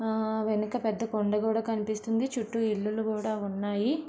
ఆ వెనక పెద్ద కొండ కూడా కనిపిస్తుంది చుట్టూ ఇల్లు కూడా ఉన్నాయి.